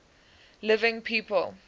living people